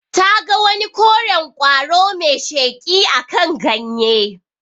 Ta ga wani koren ƙwaro mai sheƙi akan ganye.